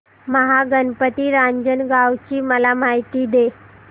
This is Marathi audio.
महागणपती रांजणगाव ची मला माहिती दे